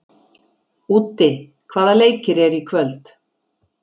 Úddi, hvaða leikir eru í kvöld?